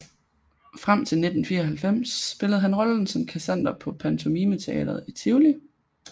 Frem til 1994 spillede han rollen som Kassander på Pantomimeteatret i Tivoli